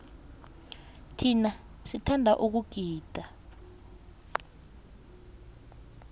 thina sithanda ukugida